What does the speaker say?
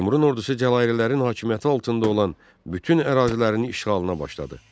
Teymurun ordusu Cəlalilərin hakimiyyəti altında olan bütün ərazilərinin işğalına başladı.